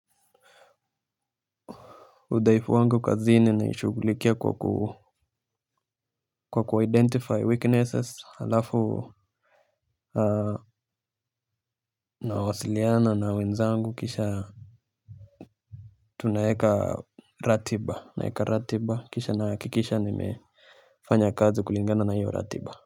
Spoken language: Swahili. Udhaifu wangu kazini naishughulikia kwa ku kwa kuwa identify weaknesses halafu nawasiliana na wenzangu kisha tunaeka ratiba kisha nahakikisha ni me fanya kazi kulingana na hiyo ratiba.